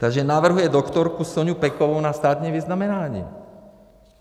Takže navrhuje doktorku Soňu Pekovou na státní vyznamenání.